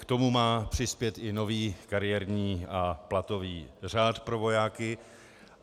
K tomu má přispět i nový kariérní a platový řád pro vojáky.